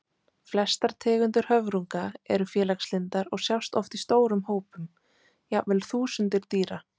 Flestar tegundir höfrunga eru félagslyndar og sjást oft í stórum hópum, jafnvel þúsundir dýra.